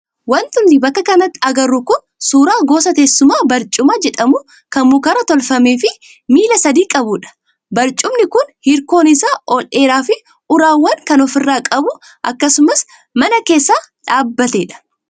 Wanti nuti bakka kanatti agarru kun suuraa gosa teessumaa barcuma jedhamu kan mukarraa tolfamee fi miila sadii qabudha Barcumni kun hirkoon isaa ol dheeraa fi uraawwan kan ofirraa qabu akkasumas mana keessa dhaabbatedha.